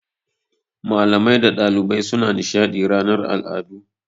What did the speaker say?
Malamai da ɗalibai suna nishaɗi ranar al'adu.